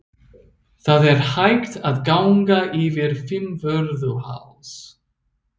Það er hægt að ganga yfir Fimmvörðuháls.